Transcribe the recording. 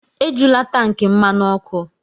Ejula tankị mmanụ ọkụ!